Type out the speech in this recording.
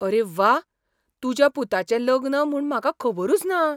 अरे व्वा! तुज्या पुताचें लग्न म्हूण म्हाका खबरूच ना!